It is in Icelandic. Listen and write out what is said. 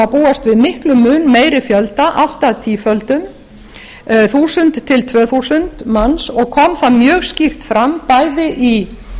má búast við mun meiri fjölda allt að tíföldun þúsund tvö þúsund manns og kom það mjög skýrt fram bæði í